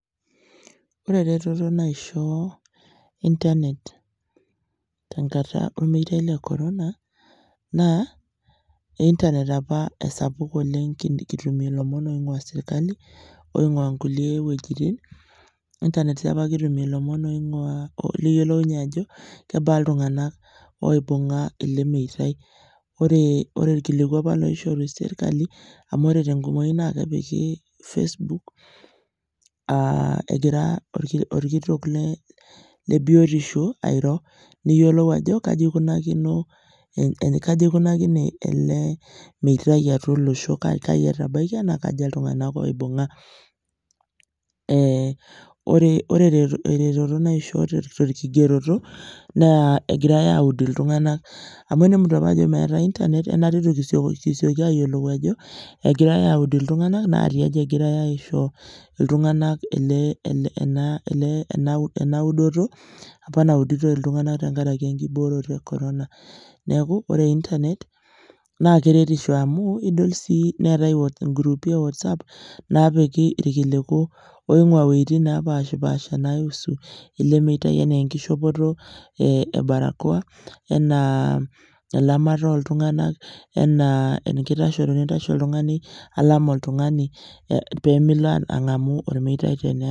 ore eretoto naishoo internet tenkata ormeitai le corona naa internet esapuk oleng kitumie lomon oing'ua serkali oing'ua nkulie wuejitin, internet sii apa kitumie lomon ong'uaa liyiolounye ajo kebaa iltung'anak oibung'a ele meitai ore ore ilkiliku apa loishoru serkali amu ore tenkumoi naa kepiki apa facebook aah egira orki orkitok le biyotisho airo, niyiolou ajo kaji aikunakino kaji eikunakine ele meitai atua olosho, kaji etabaikia naa kaja iltung'anak oibung'a. ore tere eretoto naishoo torkigeroto naa egirae awud iltung'anak, amu tenemutu apa ajo meetae internet eitu kisioki ayiolou ajo egirae awud iltung'anak naa tiaji egirae aisho iltung'anak ele ele ena ena wudoto apa nawuditoi iltung'anak tenkaraki enkiboroto e corona neeku ore internet naa keretisho amu idol sii neetae inguruupi e whatsupp naapiki irkiliku oing'ua wuetin napaashipaasha naihusu ele meitai enaa enkishopoto e barakoa enaa elamata oltung'anak, enaa enkitashoto tenintashe oltung'ani alam oltung'ani peemilo ang'amu ormeitai tenelakua.